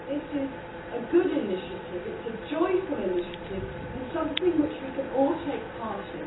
It is a good initiative, a joyful initiative and something which we can all take part in.